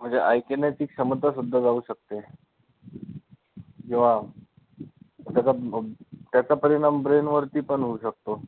म्हणजे ऐकण्याची क्षमता सुद्धा जाऊ शकते, जेव्हा त्याचा ब परिणाम brain वरती पण होऊ शकतो.